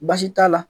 Baasi t'a la